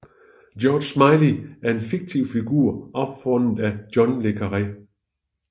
George Smiley er en fiktiv figur opfundet af John le Carré